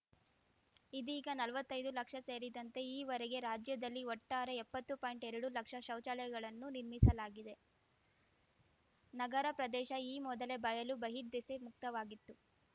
ಇದೀಗ ನಲ್ವತ್ತೈದು ಲಕ್ಷ ಸೇರಿದಂತೆ ಈ ವರೆಗೆ ರಾಜ್ಯದಲ್ಲಿ ಒಟ್ಟಾರೆ ಎಪ್ಪತ್ತು ಪಾಯಿಂಟ್ಎರಡು ಲಕ್ಷ ಶೌಚಾಲಯಗಳನ್ನು ನಿರ್ಮಿಸಲಾಗಿದೆ ನಗರ ಪ್ರದೇಶ ಈ ಮೊದಲೇ ಬಯಲು ಬಹಿರ್ದೆಸೆ ಮುಕ್ತವಾಗಿತ್ತು